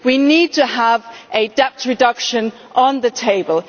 we need to have debt reduction on the table.